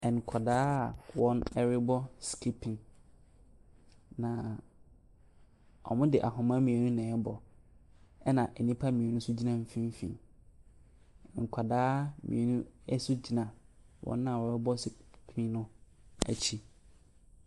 Nkwadaa a wɔrebɔ skiping. Na wɔde ahoma mmienu na ɛrebɔ. Ɛna nnipa mmienu nso gyina mfimfini. Nkwadaa mmienu so gyina wɔn a wɔrebɔ skipping no akyi.